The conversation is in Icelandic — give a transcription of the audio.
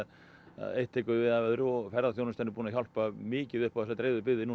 eitt tekur við af öðru og ferðaþjónustan er búin að hjálpa mikið upp á þessar dreifðu byggðir